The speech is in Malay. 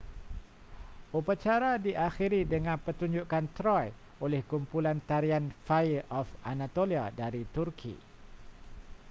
upacara diakhiri dengan pertunjukan troy oleh kumpulan tarian fire of anatolia dari turki